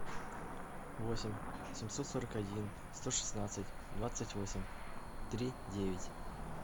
восемь семьсот сорок один сто шестнадцать двадцать восемь три девять